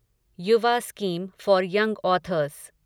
Yuva scheme for young authors